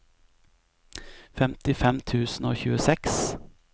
femtifem tusen og tjueseks